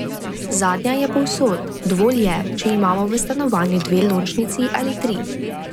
Zadnja je povsod, dovolj je, če imamo v stanovanju dve lončnici ali tri.